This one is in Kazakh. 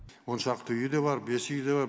он шақты үй де бар бес үй де бар